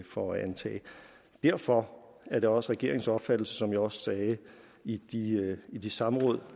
for at antage derfor er det også regeringens opfattelse som jeg også sagde i de i de samråd